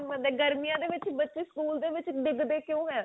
ਗਰਮੀਆਂ ਦੇ ਵਿੱਚ ਬੱਚੇ school ਦੇ ਵਿੱਚ ਡੀਗਦੇ ਕਿਉਂ ਹੈਂ